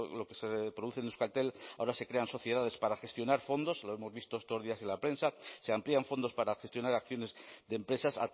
lo que se produce en euskaltel ahora se crean sociedades para gestionar fondos lo hemos visto estos días en la prensa se amplían fondos para gestionar acciones de empresas